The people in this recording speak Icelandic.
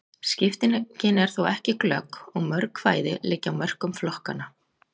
Skiptingin er þó ekki glögg, og mörg kvæði liggja á mörkum flokkanna.